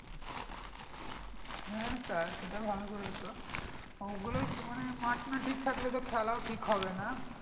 হ্যাঁ তা সেটাও ভালো করেছো ওগুলো মানে মাঠ না ঠিক রাখলে তো খেলোও ঠিক হবে না